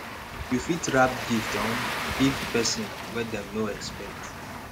you fit wrap gift um give person wen dem no expect